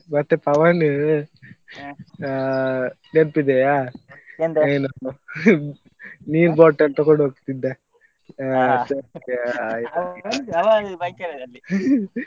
ಮತ್ತೇ ಪವನ್ ನೆನಪಿದೆಯಾ ನೀರು bottle ತಕೊಂಡೋಗ್ತಿದ್ದೆ .